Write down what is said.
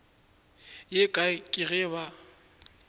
ye kae ke ge ba